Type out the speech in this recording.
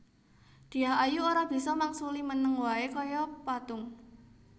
Dyah Ayu ora bisa mangsuli meneng wae kaya patung